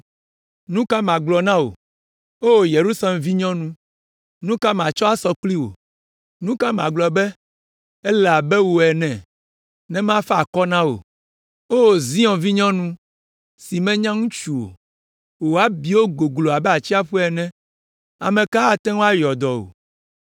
Nya ka magblɔ na wò? O Yerusalem vinyɔnu, nu ka matsɔ asɔ kpli wò? Nu ka magblɔ be ele abe wò ene, ne mafa akɔ na wò, O Zion vinyɔnu si menya ŋutsu o? Wò abiwo goglo abe atsiaƒu ene, ame ka ate ŋu ayɔ dɔ wò?